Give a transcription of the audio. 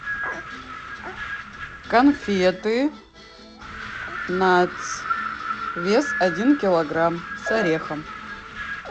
конфеты натс вес один килограмм с орехом